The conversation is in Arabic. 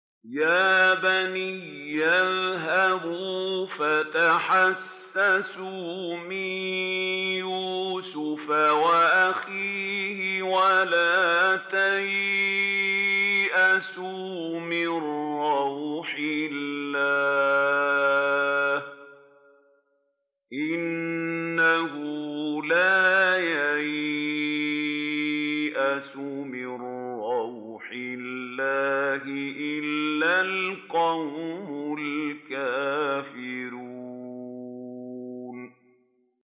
يَا بَنِيَّ اذْهَبُوا فَتَحَسَّسُوا مِن يُوسُفَ وَأَخِيهِ وَلَا تَيْأَسُوا مِن رَّوْحِ اللَّهِ ۖ إِنَّهُ لَا يَيْأَسُ مِن رَّوْحِ اللَّهِ إِلَّا الْقَوْمُ الْكَافِرُونَ